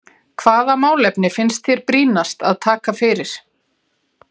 Hvaða málefni finnst þér brýnast að taka fyrir?